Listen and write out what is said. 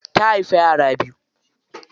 Ta haifi yara biyu.